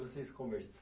Vocês